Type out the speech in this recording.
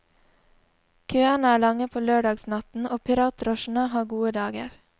Køene er lange på lørdagsnatten, og piratdrosjene har gode dager.